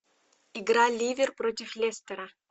игра ливер против лестера